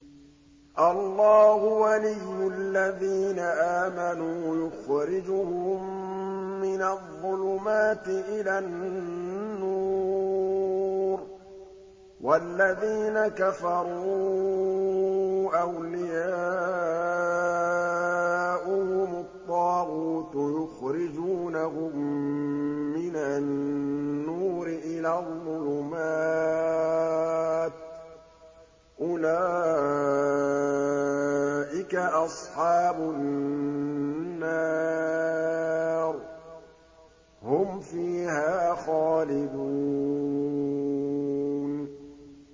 اللَّهُ وَلِيُّ الَّذِينَ آمَنُوا يُخْرِجُهُم مِّنَ الظُّلُمَاتِ إِلَى النُّورِ ۖ وَالَّذِينَ كَفَرُوا أَوْلِيَاؤُهُمُ الطَّاغُوتُ يُخْرِجُونَهُم مِّنَ النُّورِ إِلَى الظُّلُمَاتِ ۗ أُولَٰئِكَ أَصْحَابُ النَّارِ ۖ هُمْ فِيهَا خَالِدُونَ